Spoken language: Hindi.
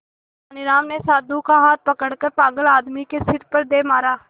तेनालीराम ने साधु का हाथ पकड़कर पागल आदमी के सिर पर दे मारा